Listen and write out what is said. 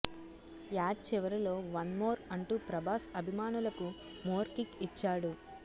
add చివరలో one more అంటూ ప్రభాస్ అభిమానులకు మోర్ కిక్ ఇచ్చాడు